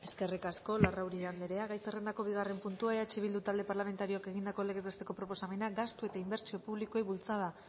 eskerrik asko larrauri andrea gai zerrendako bigarren puntua eh bildu talde parlamentarioak egindako legez besteko proposamena gastu eta inbertsio publikoei bultzada